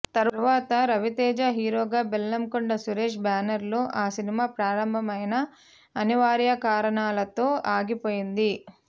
తరువాత రవితేజ హీరోగా బెల్లంకొండ సురేష్ బ్యానర్లో ఆ సినిమా ప్రారంభమైన అనివార్య కారణాలతో ఆగిపోయింది